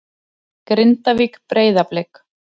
Grindavík- Breiðablik